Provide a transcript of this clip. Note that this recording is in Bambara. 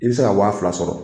I bɛ se ka wa fila sɔrɔ.